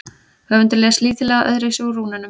höfundur les lítillega öðruvísi úr rúnunum